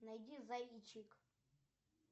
найди заичик